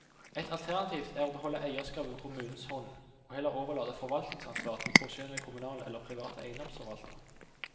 Et alternativ er å beholde eirskapet på kommunens hånd, og heller overlate forvaltningsansvaret til profesjonelle kommunale eller private eiendomsforvaltere.